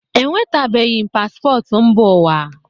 Enwetabeghi m paspọtụ mba ụwa